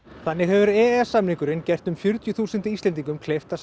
þannig hefur e e s samningurinn gert um fjörutíu þúsund Íslendingum kleift að